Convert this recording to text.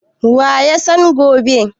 Wa ya san gobe?